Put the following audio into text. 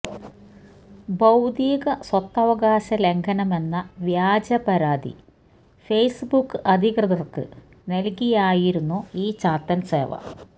ബൌദ്ധികസ്വത്തവകാശ ലംഘനമെന്ന വ്യാജ പരാതി ഫെയ്സ് ബുക്ക് അധികൃതര്ക്ക് നല്കിയായിരുന്നു ഈ ചാത്തന് സേവ